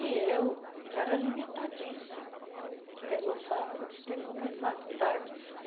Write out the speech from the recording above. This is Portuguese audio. E eu era limitadíssima, pelo fato de ter começado tarde.